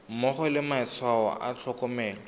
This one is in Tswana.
mmogo le matshwao a tlhokomelo